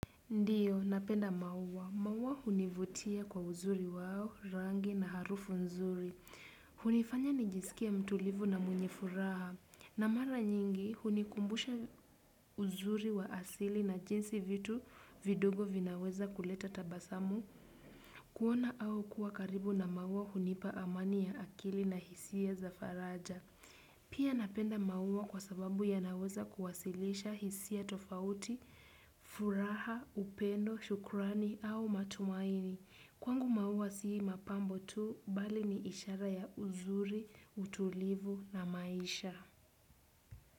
Ndiyo, napenda maua. Maua hunivutia kwa uzuri wao, rangi na harufu nzuri. Hunifanya nijiskie mtulivu na mwenye furaha. Na mara nyingi, hunikumbusha uzuri wa asili na jinsi vitu vidogo vinaweza kuleta tabasamu. Kuona au kuwa karibu na maua hunipa amani ya akili na hisia za faraja. Pia napenda maua kwa sababu yanaweza kuwasilisha hisia tofauti, furaha, upendo, shukrani au matumaini. Kwangu maua sii mapambo tu, bali ni ishara ya uzuri, utulivu na maisha.